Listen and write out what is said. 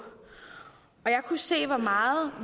jeg kunne se hvor meget